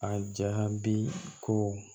A jaabi ko